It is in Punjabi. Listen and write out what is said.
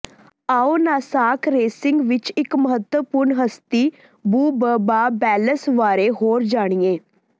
ਆਉ ਨਾਸਾਕ ਰੇਸਿੰਗ ਵਿੱਚ ਇੱਕ ਮਹੱਤਵਪੂਰਨ ਹਸਤੀ ਬੁਬਬਾ ਵੈਲਸ ਬਾਰੇ ਹੋਰ ਜਾਣੀਏ